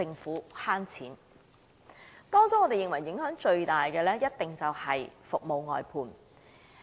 在各項措施中，我們認為影響最大的一定是服務外判制度。